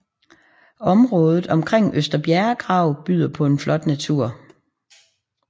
Området omkring Øster Bjerregrav byder på en flot natur